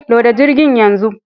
Loda jirgin yanzu